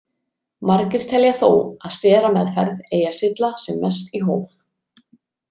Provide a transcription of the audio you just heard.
Margir telja þó að sterameðferð eigi að stilla sem mest í hóf.